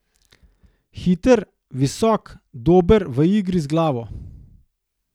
Hiter, visok, dober v igri z glavo.